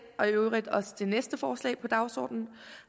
og i øvrigt også det næste forslag på dagsordenen